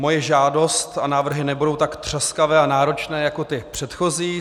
Moje žádost a návrhy nebudou tak třaskavé a náročné jako ty předchozí.